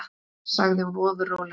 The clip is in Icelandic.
sagði hún ofur rólega.